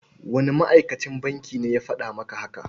Wane ma'akacin bankin ne ya faɗa maka haka?